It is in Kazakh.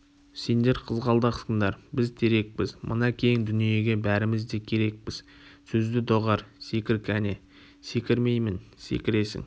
сендер қызғалдақсыңдар біз терекпіз мына кең дүниеге бәріміз де керекпіз сөзді доғар секір кәне секірмеймін секіресің